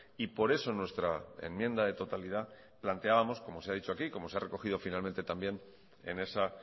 y por eso nuestra enmienda de totalidad planteábamos como se ha dicho aquí como se ha recogido finalmente también en esa